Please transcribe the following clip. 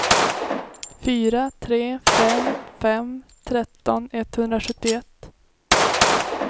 fyra tre fem fem tretton etthundrasjuttioett